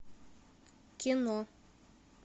кино